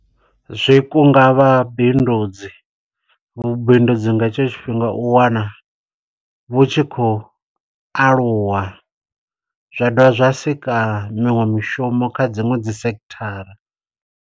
Zwikunga vhabindudzi. Vhubindudzi nga etsho tshifhinga u wana vhutshi khou aluwa, zwa dovha zwa sika miṅwe mishumo kha dziṅwe dzi sekhithara.